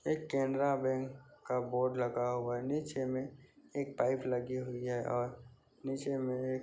एक Canara bank का board लगा हुआ है नीचे में एक पाइप लगी हुई है और नीचे में एक --